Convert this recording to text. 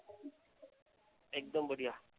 एकदम बढीया.